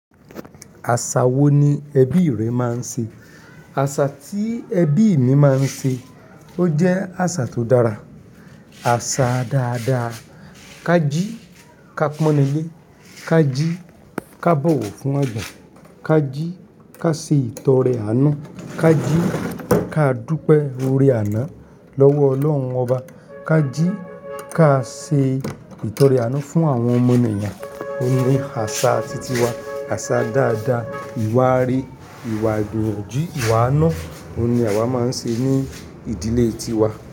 Àṣà wo ni ẹbí rẹ máa ń ṣe? Àṣà tí ẹbí mi máa ń ṣe, o jẹ́ àṣà tó dára, àṣà dáadáa. Kájí ká pọ́n nílé, kájí ká bọ̀wọ̀ fún agbà, kájí ká ṣe ìtọrẹ àná, kájí ká dúpẹ́ ore àná lọ́wọ́ Ọlọ́run Ọba, kájí ká ṣe ìtọrẹ àná fún àwọn ọmọnìyàn. Ó ní àṣà titi wa, àṣà dáadáa, ìwáre, ìwà igbiyanjù, ìwà ànu. Ó ní àwa máa ń ṣe ní ìdílé tiwa.